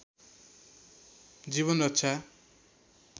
जीवन रक्षा